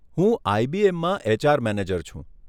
હું આઈબીએમમાં HR manager છું.